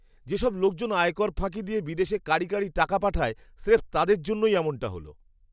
যেসব লোকজন আয়কর ফাঁকি দিয়ে বিদেশে কাঁড়ি কাঁড়ি টাকা পাঠায়, স্রেফ তাদের জন্যই এমনটা হল!